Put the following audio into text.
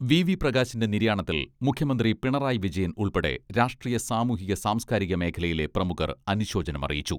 V V പ്രകാശിന്റെ നിര്യാണത്തിൽ മുഖ്യമന്ത്രി പിണറായി വിജയൻ ഉൾപ്പെടെ രാഷ്ട്രീയ സാമൂഹിക സാംസ്കാരിക മേഖലയിലെ പ്രമുഖർ അനുശോചനമറിയിച്ചു.